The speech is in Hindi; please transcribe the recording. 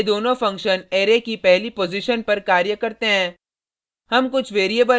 ध्यान दें ये दोनों फंक्शन अरै की पहली पॉजिशन पर कार्य करते हैं